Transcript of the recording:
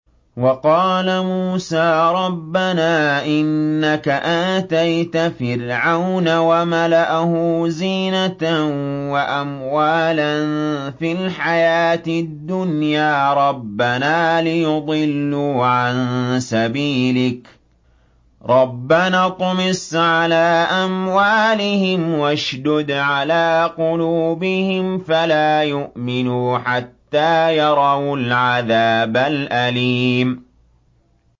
وَقَالَ مُوسَىٰ رَبَّنَا إِنَّكَ آتَيْتَ فِرْعَوْنَ وَمَلَأَهُ زِينَةً وَأَمْوَالًا فِي الْحَيَاةِ الدُّنْيَا رَبَّنَا لِيُضِلُّوا عَن سَبِيلِكَ ۖ رَبَّنَا اطْمِسْ عَلَىٰ أَمْوَالِهِمْ وَاشْدُدْ عَلَىٰ قُلُوبِهِمْ فَلَا يُؤْمِنُوا حَتَّىٰ يَرَوُا الْعَذَابَ الْأَلِيمَ